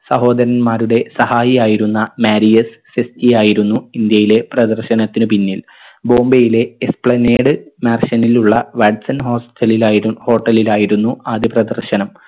സഹോദരന്മാരുടെ സഹായിയായിരുന്ന മാരിയസ് സിസ്‌കിയായിരുന്നു ഇന്ത്യയിലെ പ്രദർശനത്തിന് പിന്നിൽ ബോംബയിലെ എസ്പ്ലനേഡ് mansion ഇലുള്ള വാട്സൺ hostel ലിലായി hotel ലിലായിരുന്നു ആദ്യ പ്രദർശനം